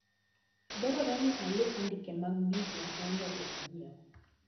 Dwarore ni alu andike mar gigo maonego anyiew.